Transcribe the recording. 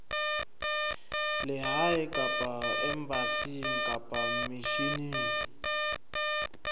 lehae kapa embasing kapa misheneng